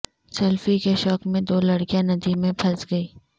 selfie کے شوق میں دو لڑکیاں ندی میں پھنس گئیں